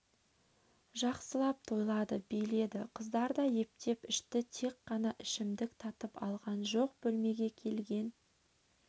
жақсылап тойлады биледі қыздар да ептеп ішті тек қана ішімдік татып алған жоқ бөлмеге келген